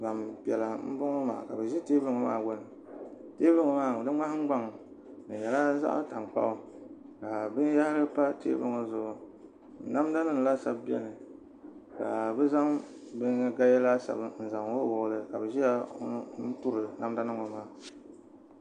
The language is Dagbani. Gbampiɛla m-bɔŋɔ maa ka bɛ ʒi teebuli ŋɔ maa gbuni teebuli ŋɔ maa di ŋmahiŋgbaŋ di nyɛla zaɣ' tankpaɣu ka binyɛhiri pa teebuli ŋɔ zuɣu namdanima laasabu beni ka bɛ zaŋ gaya laasabu n-zaŋ wuɣiwuɣi li ka bɛ ʒiya n-turi namdanima ŋɔ maa